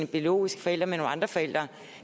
biologiske forældre med nogle andre forældre